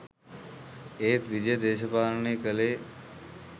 ඒත් විජය දේශපාලනය කළේ